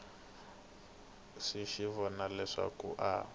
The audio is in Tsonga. xi swi vona leswaku a